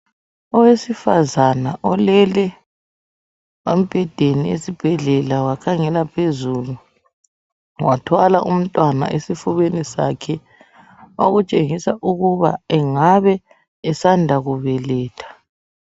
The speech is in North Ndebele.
Owesifazana olele embhedeni esibhedlela wakhangela phezulu athwala umntwana esifubeni sakhe okutshengisa ukuba engabe esanda kubeletha.